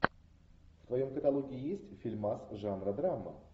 в твоем каталоге есть фильмас жанра драма